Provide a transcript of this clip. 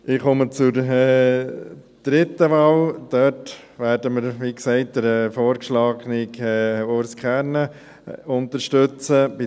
Ich komme zur dritten Wahl, bei der wir, wie gesagt, den vorgeschlagenen Urs Kernen unterstützen werden.